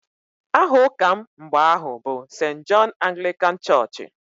Aha ụka m mgbe ahụ bụ Sent Jọn Aglịkan chọọchị